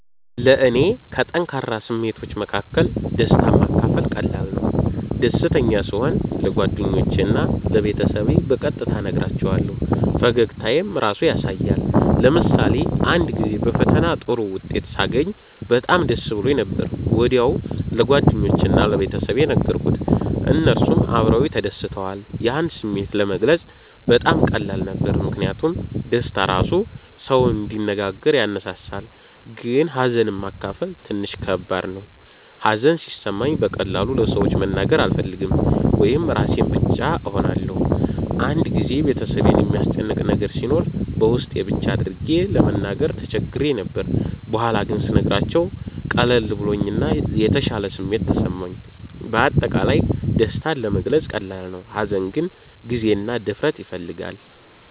ለእኔ ከጠንካራ ስሜቶች መካከል ደስታን ማካፈል ቀላል ነው። ደስተኛ ስሆን ለጓደኞቼ እና ለቤተሰቤ በቀጥታ እነግራቸዋለሁ፣ ፈገግታዬም ራሱ ያሳያል። ለምሳሌ አንድ ጊዜ በፈተና ጥሩ ውጤት ሳገኝ በጣም ደስ ብሎኝ ነበር። ወዲያው ለጓደኞቼ እና ለቤተሰቤ ነገርኩት፣ እነሱም አብረውኝ ተደስተዋል። ያን ስሜት ለመግለጽ በጣም ቀላል ነበር ምክንያቱም ደስታ ራሱ ሰውን እንዲነጋገር ያነሳሳል። ግን ሀዘንን ማካፈል ትንሽ ከባድ ነው። ሀዘን ሲሰማኝ በቀላሉ ለሰዎች መናገር አልፈልግም ወይም ራሴን ብቻ እሆናለሁ። አንድ ጊዜ ቤተሰቤን የሚያስጨንቅ ነገር ሲኖር በውስጤ ብቻ አድርጌ ለመናገር ተቸግሬ ነበር። በኋላ ግን ስነግራቸው ቀለል ብሎኝ እና የተሻለ ስሜት ተሰማኝ። በአጠቃላይ ደስታ ለመግለጽ ቀላል ነው፣ ሀዘን ግን ጊዜ እና ድፍረት ይፈልጋል።